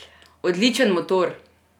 Odličen motor!